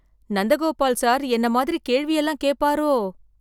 Nandagopal sir என்ன மாதிரி கேள்வி எல்லாம் கேட்பாரோ?